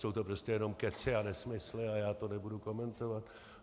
Jsou to prostě jenom kecy a nesmysly a já to nebudu komentovat.